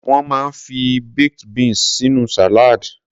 Wón máa ń fi baked beans sínú salad.